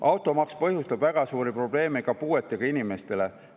Automaks põhjustab väga suuri probleeme ka puuetega inimestele.